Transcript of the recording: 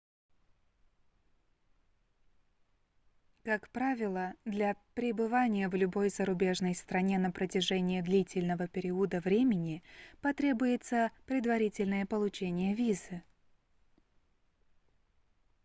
как правило для пребывания в любой зарубежной стране на протяжении длительного периода времени потребуется предварительное получение визы